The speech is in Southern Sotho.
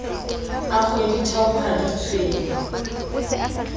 a kgweditharo ha di tshwenye